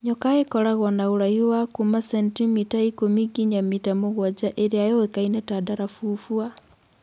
Nyoka īkoragwo na ūraihu wa kuuma centimita ikũmi nginya mita mũgwanja īrīa yũĩkaine ta Ndarafufua.